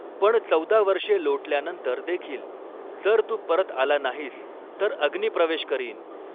पण चौदा वर्षे लोटल्यानंतर देखील जर तू परत आला नाहीस तर अग्निप्रवेश करीन.